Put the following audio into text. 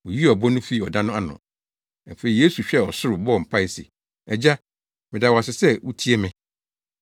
Woyii ɔbo no fii ɔda no ano. Afei Yesu hwɛɛ ɔsoro, bɔɔ mpae se, “Agya, meda wo ase sɛ wutie me.